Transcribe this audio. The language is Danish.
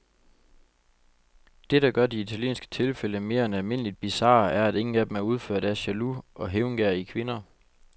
Det, der gør de italienske tilfælde mere end almindeligt bizarre, er, at ingen af dem er udført af jaloux og hævngerrige kvinder.